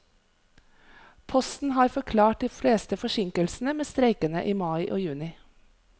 Posten har forklart de fleste forsinkelsene med streikene i mai og juni.